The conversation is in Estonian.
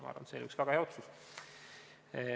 Ma arvan, et see on väga hea otsus.